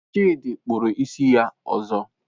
Chidi kpụrụ isi ya ọzọ.